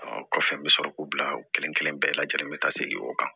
Ɔ kɔfɛ n bɛ sɔrɔ k'u bila u kelen kelen bɛɛ lajɛlen bɛ taa segin o kan